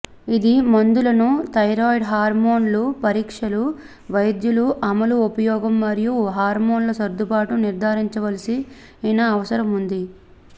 ఇది మందులను థైరాయిడ్ హార్మోన్లు పరీక్షలు వైద్యులు అమలు ఉపయోగం మరియు హార్మోన్ల సర్దుబాట్లు నిర్ధారించవలసిన అవసరం ఉంది